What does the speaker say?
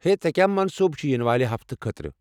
ہے، ژےٚ کیٚا منصوٗبہٕ چھی یِنہٕ والہِ ہفتہٕ خٲطرٕ؟